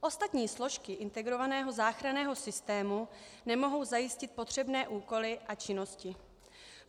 Ostatní složky integrovaného záchranného systému nemohou zajistit potřebné úkoly a činnosti.